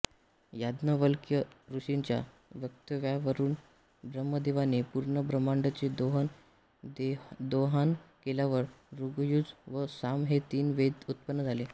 याज्ञवल्क्य ऋषींच्या वक्तव्यावरूनब्रह्मदेवाने पूूर्ण ब्रम्हाण्डचे दोहन केल्यावर ऋग्यजु व साम हे तीन वेद उत्पन्न झाले